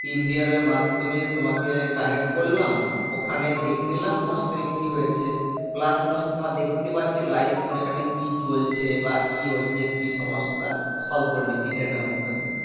team ভিউয়ারের মাধ্যমে তোমাকে connect করলাম ওখানে দেখে নিলাম তোমার system এ কি হয়েছে plus তোমার তোমার দেখতে পাচ্ছি live তোমার এখানে কি চলছে বা কি হচ্ছে কি সমস্যা solve করে নিচ্ছি internet এর মাধ্যমে